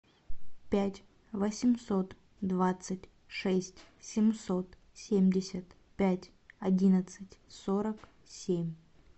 пять восемьсот двадцать шесть семьсот семьдесят пять одиннадцать сорок семь